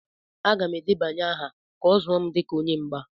Aga m edebanye aha ka a zụọ m dịka onye mgba.